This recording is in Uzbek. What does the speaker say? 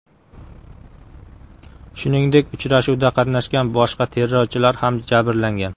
Shuningdek, uchrashuvda qatnashgan boshqa terrorchilar ham jabrlangan.